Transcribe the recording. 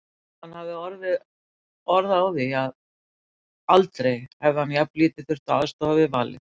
Hann hafði orð á því að aldrei hefði hann jafnlítið þurft að aðstoða við valið.